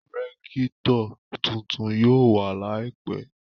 Rẹ́kítọ̀ tuntun yóò wà láìpẹ́